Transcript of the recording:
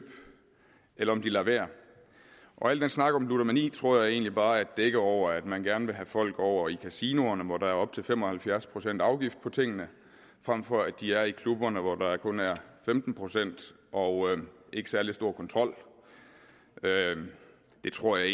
eller om de lader være al den snak om ludomani tror jeg egentlig bare er et dække over at man gerne vil have folk over i kasinoerne hvor der er op til fem og halvfjerds procent i afgift på tingene frem for at de er i klubberne hvor der kun er femten procent og ikke særlig stor kontrol det tror jeg